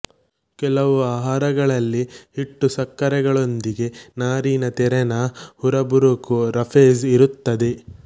ಕೆಲವು ಆಹಾರಗಳಲ್ಲಿ ಹಿಟ್ಟು ಸಕ್ಕರೆಗಳೊಂದಿಗೆ ನಾರಿನ ತೆರನ ಹುರಬುರಕೂ ರಫೇಜ್ ಇರುತ್ತದೆ